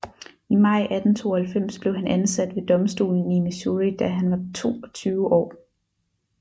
I maj 1892 blev han ansat ved domstolen i Missouri da han var toogtyve år